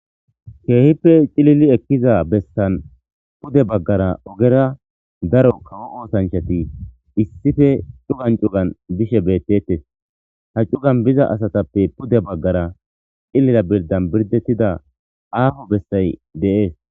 Keehippe cilili ekkiza bessan pude baggara ogera daro kawo oosanchati issife cugan cugan bishe bettetes ha cugan biza asatappe pude baggara cillila birdan birdettida aafo bessay dees.